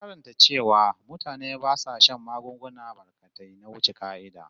Na karanta cewa da can mutane ba sa shan magunguna barkatai na wuce ƙa'ida